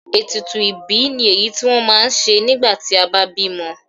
Ètùtù ìbí ni èyí tí wọ́n ma ń ṣe nígbà tí a bá bímọ.